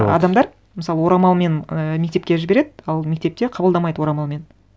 адамдар мысалы орамалмен і мектепке жібереді ал мектепте қабылдамайды орамалмен